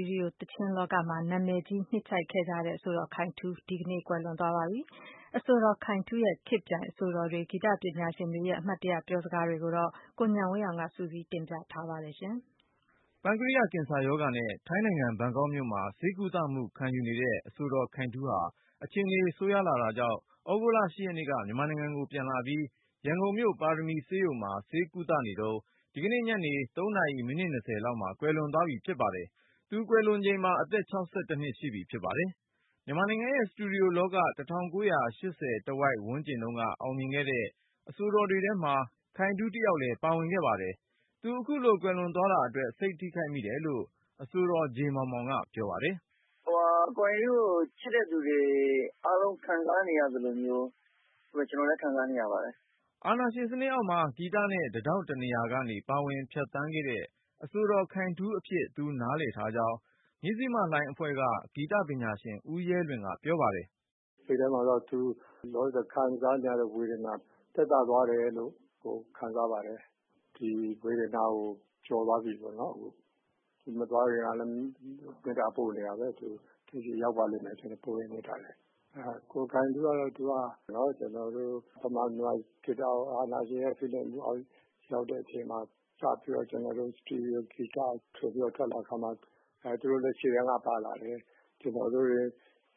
ီရီယို သီချင်းလောကမှာ နာမည်ကြီး နှစ်ခြိုက်ခဲ့ဲကြတဲ့ အဆိုတော် ခိုင်ထူး ဒီကနေ့မှာ ကွယ်လွန်သွားခဲ့ပါတယ်။ အဆိုတော် ခိုင်ထူးရဲ့ ခေတ်ပြိုင် အဆိုတော်တွေ ဂီတပညာရှင်တွေရဲ့ အမှတ်တရ ပြောစကားတွေကို ကိုဉာဏ်ဝင်းအောင်က စုစည်းတင်ပြထားပါတယ်။ ပန်ကရိယ ကင်ဆာရောဂါနဲ့ ထိုင်းနိုင်ငံ ဘန်ကောက်မြို့မှာ ဆေးကုသမှု ခံယူနေတဲ့ အဆိုတော်ခိုင်ထူးဟာ အခြေအနေဆိုးရွားလာတာကြောင့် သြဂုတ်လ ရက်နေ့က မြန်မာနိုင်ငံကိုပြန်လာပြီး ရန်ကုန်မြို့ ပါရမီဆေးရုံမှာ ဆေးကုသနေတုန်း ဒီကနေ့ညနေ ၃နာရီ မိနစ် ၂၀ လောက်မှာ ကွယ်လွန်သွားပြီ ဖြစ်ပါတယ်။ ကွယ်လွန်ချိန်မှာ အသက် နှစ် ရှိပြီဖြစ်ပါတယ်။ မြန်မာနိုင်ငံရဲ့ စတီရီယိုလောက ၁၉၈၀ တဝိုက်အောင်မြင်ခဲ့တဲ့ အဆိုတော်တွေထဲမှာ ခိုင်ထူးတယောက်လဲ ပါဝင်ခဲ့ပါတယ်။ သူအခုလို ကွယ်လွန် သွားတာအတွက် စိတ်ထိခိုက်မိတယ်လို့ အဆိုတော် ဂျေမောင်မောင်က ပြောပါတယ်။ “ကိုခိုင်ထူးကို ချစ်တဲ့လူတွေ အားလုံးခံစားနေရသလိုမျိုး ကျနော်လည်း ခံစားနေရပါတယ်။” အာဏာရှင်စနစ်အောက်မှာ ဂီတနဲ့ တထောင့်တနေရာကနေ ပါဝင်ဖြတ်သန်းခဲ့တဲ့ အဆိုတော်ခိုင်ထူးအဖြစ် သူနားလည်ထားကြောင်း မဇ္ဈိမလှိုင်းအဖွဲ့က ဂီတပညာရှင် ဦးရဲလွင်က ပြောပါတယ်။ “စိတ်ထဲမှာတော့ သူလောလောဆယ်ခံစားနေရတဲ့ ဝေဒနာ သက်သာသွားတယ်လို့ ခံစားပါတယ်။ ဒီဝေဒနာကို ကျော်သွားပြီးပေါ့နော် ၊ သူမသွားခင်ကလည်း မေတ္တာပို့နေတာပဲ။ သူ ဆီရောက်ပါလိမ့်မယ် ပို့တဲ့ မေတ္တာတွေ ။ ကိုခိုင်ထူးကတော့ ကျနော်တို့ မြန်မာပြည်မှာ ဂီတကို အာဏာရှင် ဖိနှိပ်မှုအောက်ရောက်တဲ့အချိန်မှာ စပြီးတော့ စတီရီယိုဂီတ ထွက်လာတဲ့အချိန်မှာ သူတို့လည်း ရှေ့တန်းကပါလာတယ်။ ကျနော်တို့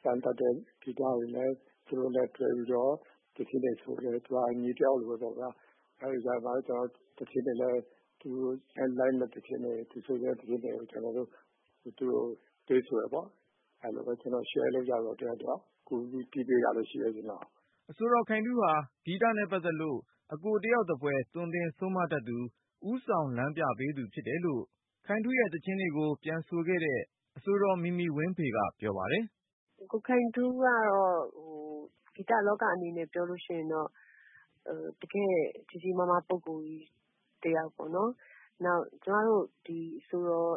စမ်းသပ်တဲ့ ဂီတတွေလည်း သူနဲ့ လက်တွဲပြီးတော့ သီချင်းတွေဆိုတယ်။ သူက ညီတယောက်လိုပဲပေါ့နော် သူနဲ့လိုက်မယ့်သီချင်းတွေ ၊ သူဆိုချင်တဲ့သီချင်းကို ကျနော်တို့ သူ့ကိုပေးဆိုတယ်ပေါ့။ အဲလိုပဲ ကျနော်တို့ တယောက်နဲ့တယောက် share လုပ်ကြတာပေါ့ ၊ ကျနော် ကူပြီးတီးပေးတာလည်းရှိတယ်။” အဆိုတော်ခိုင်ထူးဟာ ဂီတနဲ့ပတ်သက်လို့ အကိုတယောက်သဖွယ် သွန်သင်ဆုံးမတတ်သူ ဦးဆောင်လမ်းပြပေးသူ ဖြစ်တယ်လို့ ခိုင်ထူးရဲ့ သီချင်တွေကို ပြန်ဆိုခဲ့တဲ့ အဆိုတော် မီမီဝင်းဖေက ပြောပါတယ်။ “ကိုခိုင်ထူးကတော့ ဂီတလောကအနေနဲ့ ပြောလို့ရှိရင်တော့ တကယ့် ကြီးကြီးမားမားပုဂ္ဂိုလ်ကြီး တယောက်ပေါ့နော်။ နောက်ပြီးကျမတို့ အဆိုတော်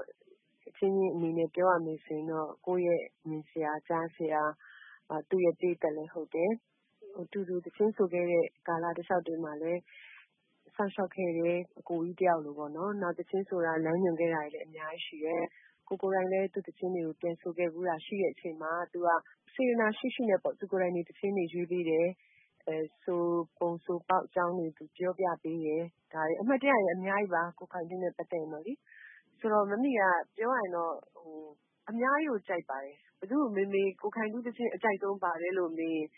အချင်းချင်းအနေနဲ့ ပြောရမယ်ဆိုရင်တော့ ကိုယ့်မြင်ဆရာ၊ ကြားဆရာ သူ့ပရိတ်သတ်လည်းဟုတ်တယ်။ အတူတူသီချင်းဆိုခဲ့တဲ့ ကာလတလျှောက်တွေမှာလည်း စောင့်ရှောက်ခဲ့တဲ့ အကိုကြီးတယောက်လိုပေါ့နော် နောက်ပြီးတော့ သီချင်းဆိုတာ လမ်းညွှန်ခဲ့တာလည်း အများကြီးရှိတယ်။ ကိုယ်တိုင်လည်း သူ့သီချင်းတွေ ပြန်ဆိုခဲ့ဖူးတာရှိတဲ့အချိန်မှာ သူက စေတနာရှိရှိနဲ့ပေါ့ သူကိုယ်တိုင်သီချင်းတွေ ရွေးပေးတယ်။ ဆိုပုံ ဆိုနည်းတွေ သူပြောပြပေးတယ် အမှတ်တရတွေကတော့ အများကြီးပါ ကိုခိုင်ထူးနဲ့ ပတ်သက်ရင်ပေါ့လေ။ ဆိုတော့ မမီက ပြောရရင်တော့ အများကြီးကိုကြိုက်ပါတယ်။ ဘယ်သူ့ကိုမေးမေး ကိုခိုင်ထူးသီချင်း အကြိုက်ဆုံးဘာလဲလို့မေးရင်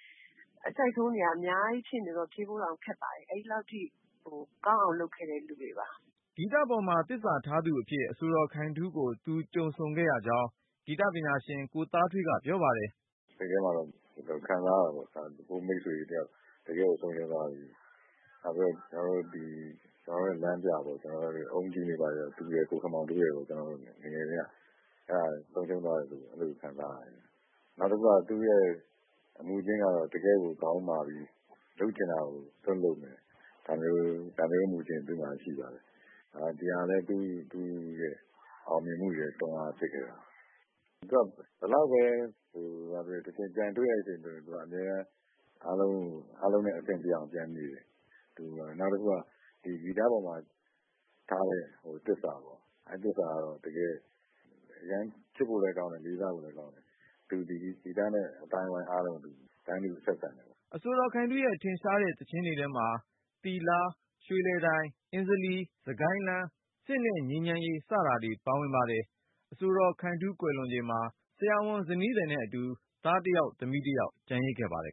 အကြိုက်ဆုံးတွေက အများကြီးဆိုတော့ ဖြေဖို့တောင်ခက်ပါတယ်။ အဲဒီလောက်အထိ ကောင်းအောင်လုပ်ခဲ့တဲ့ လူတွေပါ။” ဂီတပေါ်မှာ သစ္စာထားသူအဖြစ် အဆိုတော်ခိုင်ထူးကို သူကြုံဆုံခဲ့ကြောင်း ဂီတပညာရှင် ကိုသားထွေးက ပြောပါတယ်။ “စိတ်ထဲမှာကတော့ ခံစားရတယ်ပေါ့ ၊ ကိုယ့်မိတ်ဆွေကြီးတယောက်ဆုံးရှုံးသွားပြီ ။ ကျနော်တို့လမ်းပြပေါ့ ကျနော်တို့တွေ own tune တွေအကုန်လုံးက သူရယ် ၊ ကိုခင်မောင်တိုးကို ကျနော်တို့ ဆုံးရှုံးသွားတယ်လို့ ကျနော်တို့ ခံစားရတယ်။ နောက်တခုက သူ့ရဲ့အမူအကျင့်ကတော့ တကယ့်ကို ခေါင်းမာတယ် ၊ လုပ်စရာရှိတာကို စွပ်လုပ်မယ် ဒါမျိုးအမူအကျင့် သူ့မှာရှိပါတယ်။ ဒီဟာလည်း သူ့ရဲ့ အောင်မြင်မှုကို တွန်းအားဖြစ်ခဲ့ပါတယ်။ ဘယ်လောက်ပဲဖြစ်ဖြစ် သူက ပြန်တွေ့တဲ့ အချိန်ဆိုရင် အားလုံးနဲ့ အဆင်ပြေအောင်နေတယ်။ နောက်တခုက ဂီတပေါ်မှာထားတဲ့ သစ္စာပေါ့ အဲဒါကတော့ ချစ်ဖို့လည်းကောင်းတယ်၊ လေးစားဖို့လည်းကောင်းတယ်။ သူဒီ ဂီတနဲ့ အသိုင်းအဝိုင်းအားလုံးကို တန်းတူဆက်ဆံတယ်ပေါ့။” အဆိုတော်ခိုင်ထူးရဲ့ ထင်ရှားတဲ့ သီချင်းတွေထဲမှာ သိလား၊ ရွှေလည်တိုင်၊ ဆို၊ အဉ္ဇလီ၊ စစ်ကိုင်းလမ်း၊ စစ်နဲ့ငြိမ်းချမ်းရေး စတာတွေ ပါဝင် ပါတယ်။ အဆိုတော်ခိုင်ထူး ကွယ်လွန်ချိန်မှာ ဇနီးသည်နဲ့အတူ သားတယောက် သမီးတယောက် ကျန်ရစ်ခဲ့ပါတယ်။